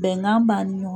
Bɛnkan b'an ni ɲɔgɔn